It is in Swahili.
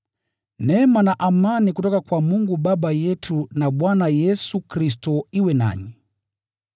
Neema na amani itokayo kwa Mungu Baba yetu na kwa Bwana Yesu Kristo iwe nanyi.